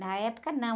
Na época, não.